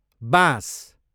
बाँस